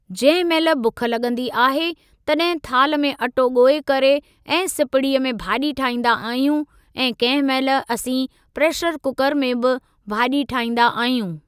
जंहिं महिल बुख लॻंदी आहे तॾहिं थाल में अटो ॻोए करे ऐं सिपड़ीअ में भाॼी ठाईंदा आहियूं ऐं कंहिं महिल असीं प्रेशर कुकर में बि भाॼी ठाईंदा आहियूं।